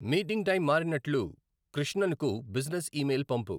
Meeting time మారినట్లు కృష్ణన్ కు business email పంపు.